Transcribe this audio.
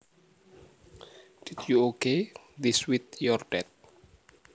Did you okay this with your dad